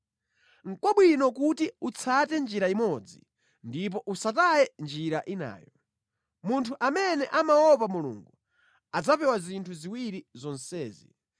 Nʼkwabwino kuti utsate njira imodzi, ndipo usataye njira inayo. Munthu amene amaopa Mulungu adzapewa zinthu ziwiri zonsezi.